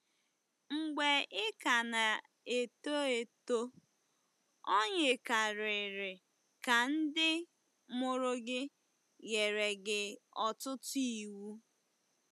Mgbe ị ka na-eto eto, o yikarịrị ka ndị mụrụ gị nyere gị ọtụtụ iwu.